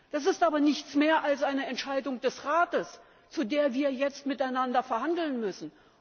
Das ist aber nichts mehr als eine Entscheidung des Rates, über die wir jetzt miteinander verhandeln müssen.